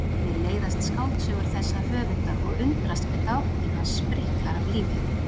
Mér leiðast skáldsögur þessa höfundar og undrast hve dagbókin hans spriklar af lífi.